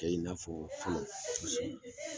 Tɛ i n'afɔ fɔlɔ